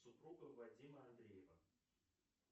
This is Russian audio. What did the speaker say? супруга вадима андреева